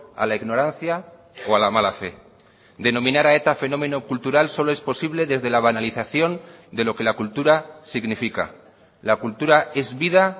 a la ignorancia o a la mala fe denominar a eta fenómeno cultural solo es posible desde la banalización de lo que la cultura significa la cultura es vida